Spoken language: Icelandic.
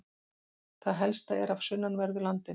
Það helsta er af sunnanverðu landinu.